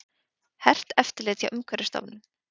Hert eftirlit hjá Umhverfisstofnun